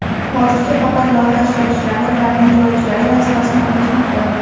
hozircha faqat loyiha ishtirokchilari ularning yo‘lovchilari vazifasini o‘tashmoqda.